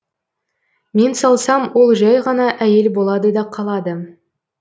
мен салсам ол жай ғана әйел болады да қалады